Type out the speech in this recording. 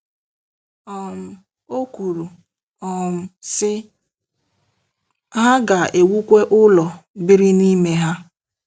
um O kwuru, um sị: “Ha ga-ewukwa ụlọ, biri n'ime ha.